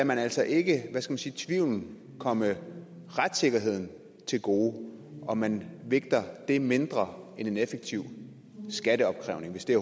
man altså ikke hvad skal man sige tvivlen komme retssikkerheden til gode og man vægter det mindre end en effektiv skatteopkrævning hvis det